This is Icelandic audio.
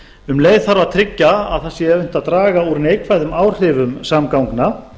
um leið þarf að tryggja að það sé unnt að draga úr neikvæðum áhrifum samgangna